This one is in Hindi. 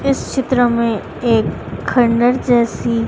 इस चित्र में एक खंडर जैसी--